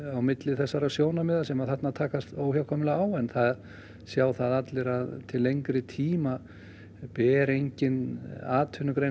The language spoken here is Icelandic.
á milli þessara sjónarmiða sem þarna takast óhjákvæmilega á en það sjá allir að til lengri tíma ber engin atvinnugrein